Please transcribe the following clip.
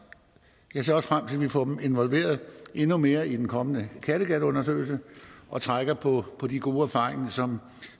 jeg ser også frem til at vi får dem involveret endnu mere i den kommende kattegatundersøgelse og trækker på på de gode erfaringer som